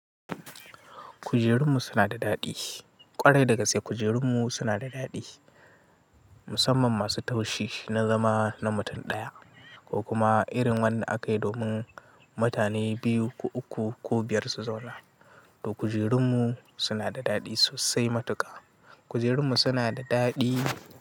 Kujerunmu suna da daɗi. Kwarai daga sai kujerunmu suna da daɗi. Musamman masu taushi na zama na mutum ɗaya ko kuma irin wanda aka yi domin mutane biyu ko uku ko biyar su zauna. To kujerunmu suna da daɗi sosai matuƙa. Kujerunmu suna da daɗi.